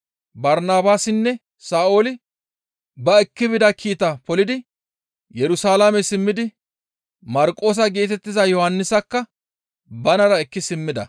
Barnabaasinne Sa7ooli ba ekki bida kiitaa polidi Yerusalaame simmidi Marqoosa geetettiza Yohannisakka banara ekki simmida.